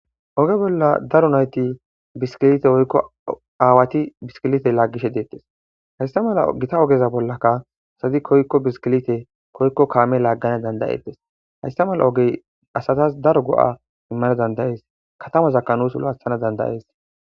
Ogge bolla daro naytti biskilete woykko awwathi biskilithe lagishe bishe dethess hayssa malay githa ogezanikka assti koyikkobkamme lagganawu dandae'thes. Hayssa mala oge assathas daro goo'a immanas dandae'ss kathamazakja nuss looa'thanas dandae'ss.